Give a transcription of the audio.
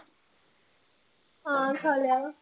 ਹਾਂ ਖਾ ਲਿਆ।